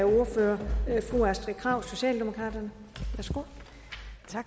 ordføreren sagde